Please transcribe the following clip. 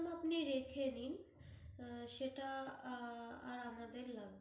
ওটা আপনি রেখে দিন, সেটা আর আর আমাদের লাগবে